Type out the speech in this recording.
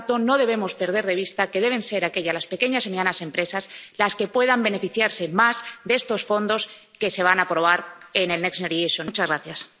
Por lo tanto, no debemos perder de vista que deben ser aquellas, las pequeñas y medianas empresas, las que puedan beneficiarse más de estos fondos que se van a aprobar en el Next Generation EU.